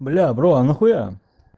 бля бро а нахуя